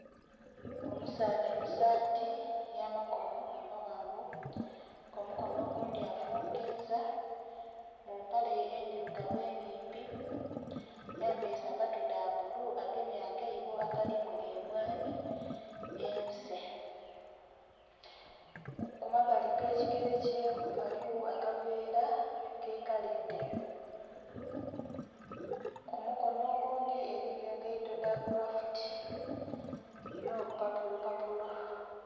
Omusaadha musaati ey'amakono amawanvu kumukono ogundi afungiza mumpale endhirugavu enimpi ayambaire sapatu dha bbulu agemye akaibo akalimu emwani esee kumabbali agekigere kye ghaligho akaveera akekala endheru kumukono ogundi eriyo engaito dha kulafuti n'obupapulopapulo.